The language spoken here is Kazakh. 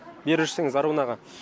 бері жүрсеңіз аруын аға